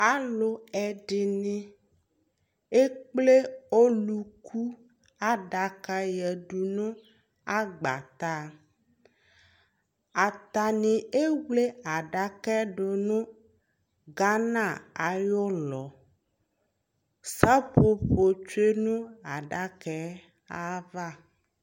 alò ɛdini ekple ɔluku adaka yadu no agbata atani ewle adaka yɛ do no Ghana ayi ulɔ seƒoƒo tsue no adaka yɛ ava